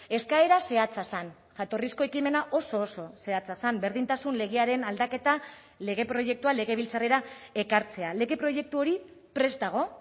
eskaera zehatza zen jatorrizko ekimena oso oso zehatza zen berdintasun legearen aldaketa lege proiektua legebiltzarrera ekartzea lege proiektu hori prest dago